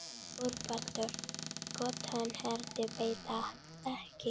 ÞORVALDUR: Gott hann heyrði þetta ekki.